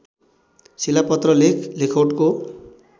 शिलापत्र लेख लेखौटको